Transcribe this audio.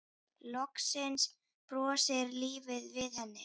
Loksins brosir lífið við henni.